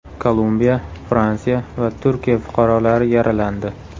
Kolumbiya, Fransiya va Turkiya fuqarolari yaralandi.